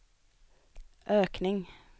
ökning